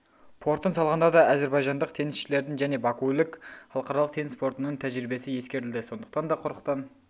портын салғанда да әзербайжандық теңізшілердің және бакулік халықаралық теңіз портының тәжірибесі ескерілді сондықтан да құрықтан